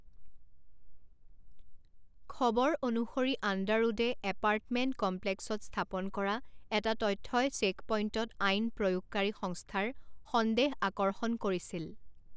খবৰ অনুসৰি আণ্ডাৰউডে এপাৰ্টমেণ্ট কমপ্লেক্সত স্থাপন কৰা এটা তথ্যই চেকপইণ্টত আইন প্ৰয়োগকাৰী সংস্থাৰ সন্দেহ আকৰ্ষণ কৰিছিল।